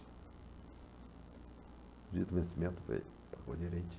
O dia do vencimento veio. vinte